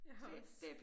Jeg har også